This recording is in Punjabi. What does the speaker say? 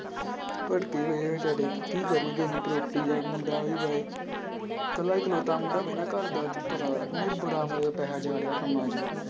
ਕੀ ਕਰਨਗੇ ਇੰਨੀ property ਦਾ ਮੁੰਡਾ ਇਕੱਲਾ ਇੱਕ ਲੋਤਾ ਮੁੰਡਾ ਹੋਵੇ ਨਾ ਘਰਦਾ ਤੇ ਪਤਾ ਬੜਾ ਮਤਲਬ ਪੈਸਾ ਜਾ ਰਿਹਾ ਕੰਮਾਂ 'ਚ ਹੀ।